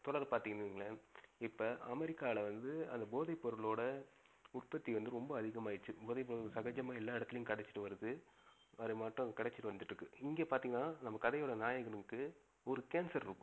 தொடர பாத்திங்கன்னு வைங்களேன் இப்ப அமெரிக்கால வந்து அது போதை பொருளோட உற்பத்தி வந்து ரொம்ப அதிகமாகிடுச்சிச்சு. போதை பொருள் சகஜமா எல்லா இடத்துலையும் கிடைச்சிட்டு வருது அது மற்றவங்களுக்கு கிடச்சிட்டு வந்துட்டு இருக்கு. இங்க பாத்திங்கனா நம்ப கதை ஓட நாயகனுக்கு ஒரு cancer இருக்கும்.